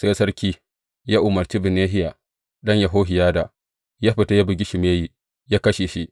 Sai sarki ya umarci Benahiya ɗan Yehohiyada, yă fita, yă bugi Shimeyi, yă kashe shi.